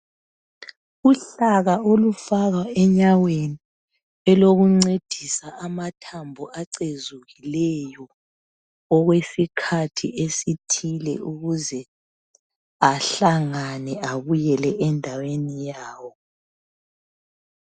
Uhlaka olufakwa enyaweni elokuncedisa amathambo acezukileyo okwesikhathi esithile ukuze ahlangane abuyele endaweni yawo.